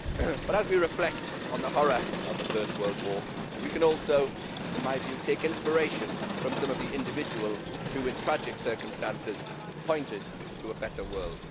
But as we reflect on the horror of the First World War we can also in my view take inspiration from some of the individuals who in tragic circumstances pointed to a better world.